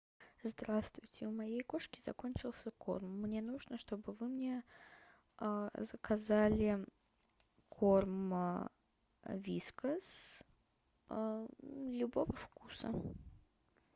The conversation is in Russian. здравствуйте у моей кошки закончился корм мне нужно чтобы вы мне заказали корм вискас любого вкуса